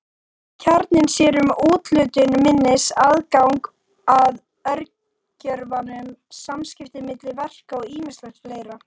Kjarninn sér um úthlutun minnis, aðgang að örgjörvanum, samskipti milli verka og ýmislegt fleira.